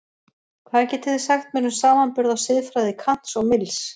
Hvað getið þið sagt mér um samanburð á siðfræði Kants og Mills?